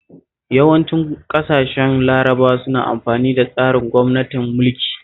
Yawancin ƙasashen Larabawa suna amfani da tsarin gwamnatin mulki